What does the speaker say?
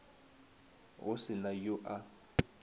go se na yo a